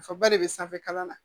Nafaba de be sanfɛ kalan na